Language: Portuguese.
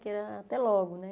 Que era até logo, né?